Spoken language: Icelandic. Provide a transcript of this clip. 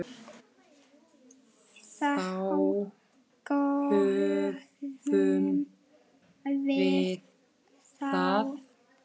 Þá höfum við það.